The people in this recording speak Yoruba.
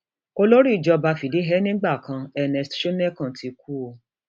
olórí ìjọba fìdíhe nígbà kan ernest shonekan ti kú o